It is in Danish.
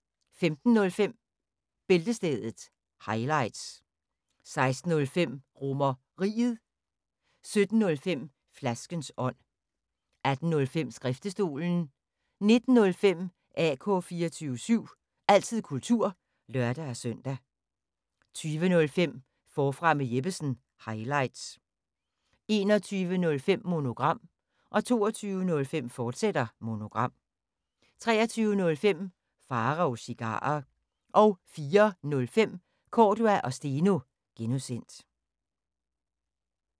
15:05: Bæltestedet – highlights 16:05: RomerRiget 17:05: Flaskens ånd 18:05: Skriftestolen 19:05: AK 24syv – altid kultur (lør-søn) 20:05: Forfra med Jeppesen – highlights 21:05: Monogram 22:05: Monogram, fortsat 23:05: Pharaos Cigarer 04:05: Cordua & Steno (G)